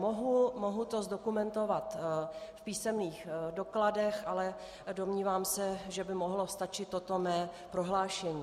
Mohu to zdokumentovat v písemných dokladech, ale domnívám se, že by mohlo stačit toto mé prohlášení.